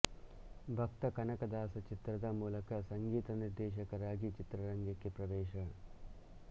ಭಕ್ತ ಕನಕದಾಸ ಚಿತ್ರದ ಮೂಲಕ ಸಂಗೀತ ನಿರ್ದೇಶಕರಾಗಿ ಚಿತ್ರರಂಗಕ್ಕೆ ಪ್ರವೇಶ